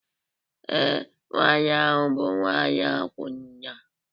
Ee, nwanyị ahụ bụ nwanyị akwụna